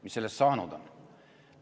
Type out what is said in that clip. Mis sellest saanud on?